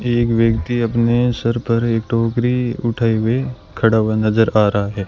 एक व्यक्ति अपने सर पर एक टोकरी उठाए हुए खड़ा हुआ नजर आ रहा है।